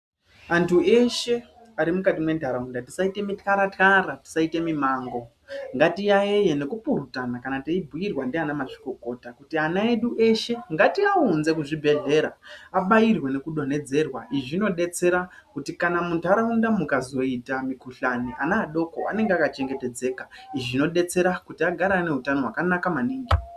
Antu eshe arimukati mentaraunda tisaite mitara tara tisaite mimango ngatiyaiye nekupurutana kana teibhirwa ndiana mazvikokota kuti ana edu eshe ngatiaunze kuzvibhedhlera abairwe nekudonhedzerwa izvi zvinodetsera kana muntaraunda mukazoita mikhuhlani ana adoko anenge akachengetedzeka izvi zvinodetsera agare ane utano hwakanaka maningi.